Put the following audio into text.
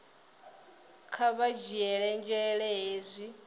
kha vha dzhiele nzhele hezwi